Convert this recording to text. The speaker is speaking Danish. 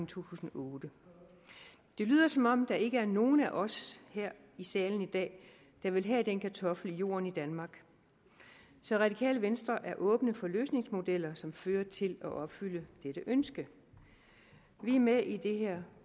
tusind og otte det lyder som om der ikke er nogen af os her i salen i dag der vil have den kartoffel i jorden i danmark så radikale venstre er åben for løsningsmodeller som fører til at opfylde dette ønske vi er med i det her